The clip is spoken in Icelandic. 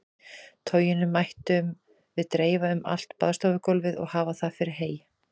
Toginu mættum við dreifa um allt baðstofugólfið og hafa það fyrir hey.